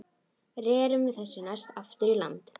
Rerum við þessu næst aftur í land.